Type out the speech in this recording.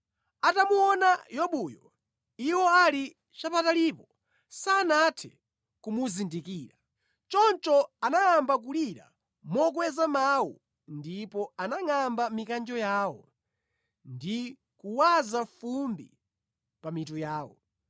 Atamuona Yobuyo, iwo ali chapatalipo, sanathe kumuzindikira. Choncho anayamba kulira mokweza mawu ndipo anangʼamba mikanjo yawo ndi kuwaza fumbi pa mitu yawo.